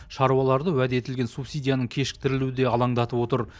шаруаларды уәде етілген субсидияның кешіктірілуі де алаңдатып отыр